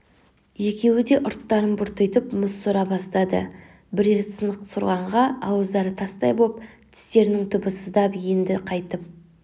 екеуі де ұрттарын бұртитып мұз сора бастады бірер сынық сорғанға ауыздары тастай боп тістерінің түбі сыздап енді қайтып